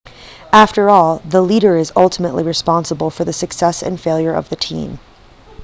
after all the leader is ultimately responsible for the success and failure of the team